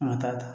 An ka taa